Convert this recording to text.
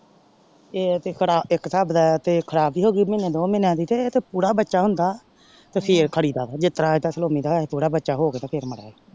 ਤੇਹ ਤੇ ਕੜਾ ਇੱਕ ਸਾਬ ਨਾਲ ਤੇ ਖੁਰਾਕ ਹੀ ਹੋ ਗਯੀ ਮਾਹੀਨੀ ਦੋ ਮਹੀਨਿਆਂ ਦੀ ਤੇ ਪੂਰਾ ਬੱਚਾ ਹੁੰਦਾ ਤੇ ਫੇਰ ਖੜੀਦਾ ਜੇ ਤ੍ਰੈ ਤਸਲੋਮੀ ਦਾ ਇਹ ਪੂਰਾ ਬਚਾ ਹੋ ਕ ਤੇ ਫੇਰ ਮਰੇ।